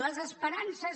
les esperances